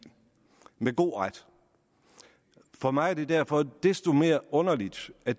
med god ret for mig er det derfor desto mere underligt at